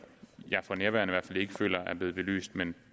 jeg for nærværende i hvert fald ikke føler er blevet belyst men